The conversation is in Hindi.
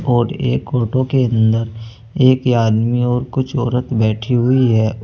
और एक ओटो के अंदर एक आदमी और कुछ औरत बैठी हुई है।